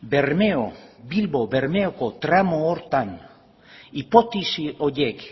bilbo bermeoko tramo horretan hipotesi horiek